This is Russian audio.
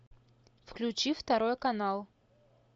включи второй канал